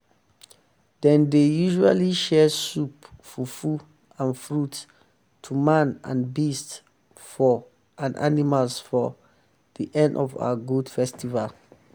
dem dey usually share soup fufu and fruits to man and beast for and beast for the end of our goat festival.